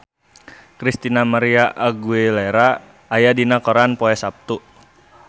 Christina María Aguilera aya dina koran poe Saptu